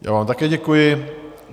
Já vám také děkuji.